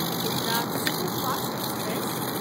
Gujarat superfast express